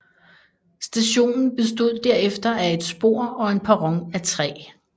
Stationen bestod derefter af et spor og en perron af træ